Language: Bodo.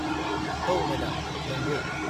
औ मेडाम, नंगौ।